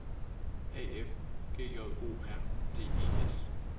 A F G J O R D E S